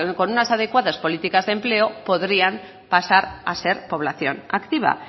que con unas adecuadas políticas de empleo podrían pasar a ser población activa